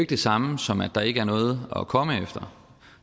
det samme som at der ikke er noget at komme efter